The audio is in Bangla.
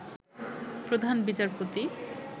প্রধান বিচারপতি